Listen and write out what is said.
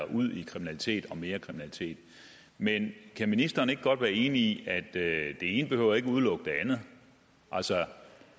ud i kriminalitet og mere kriminalitet men kan ministeren ikke godt være enig i at det ene ikke behøver udelukke det andet altså